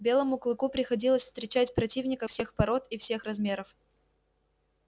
белому клыку приходилось встречать противников всех пород и всех размеров